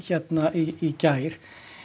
í gær